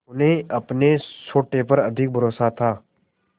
उन्हें अपने सोटे पर अधिक भरोसा था